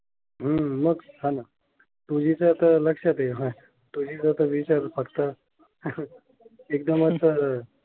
हम्म मग सांग, टूजी च लक्षात आहे ह टूजी चा तर विचार फक्त एकदमच.